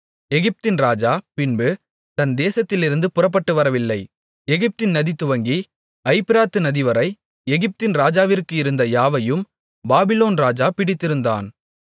எகிப்தின் ராஜா பின்பு தன் தேசத்திலிருந்து புறப்பட்டு வரவில்லை எகிப்தின் நதிதுவங்கி ஐப்பிராத்து நதிவரை எகிப்தின் ராஜாவிற்கு இருந்த யாவையும் பாபிலோன் ராஜா பிடித்திருந்தான்